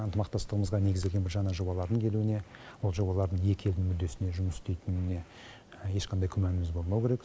ынтымақтастығымызға негізделген бір жаңа жобалардың келуіне ол жобалрдың екі елдің мүддесіне жұмыс істейтініне ешқандай күмәніміз болмауы керек